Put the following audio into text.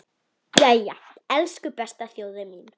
Jæja, elsku besta þjóðin mín!